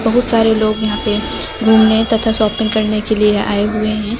बहुत सारे लोग यहां पे घूमने तथा शॉपिंग करने के लिए आए हुए हैं।